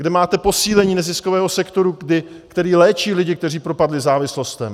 Kde máte posílení neziskového sektoru, který léčí lidi, kteří propadli závislostem?